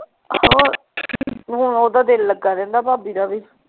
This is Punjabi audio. ਹੁਣ ਓਹਦਾ ਦਿਲ ਲੱਗਾ ਰਹਿੰਦਾ ਭਾਭੀ ਦਾ ਵੀ